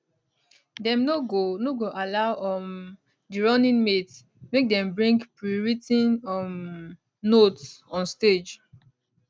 dem no go no go allow um di running mates make dem bring prewrit ten um notes on stage